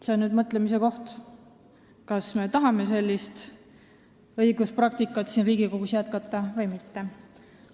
See on mõtlemise koht, kas me tahame sellist õiguspraktikat Riigikogus jätkata või mitte.